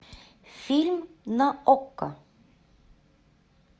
фильм на окко